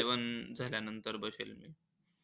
जेवण झाल्यानंतर बसेन मी.